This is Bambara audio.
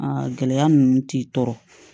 gɛlɛya ninnu t'i tɔɔrɔ